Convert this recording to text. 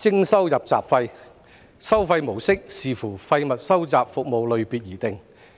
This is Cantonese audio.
徵收"入閘費"，收費模式視乎廢物收集服務類別而定。